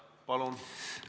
Palun!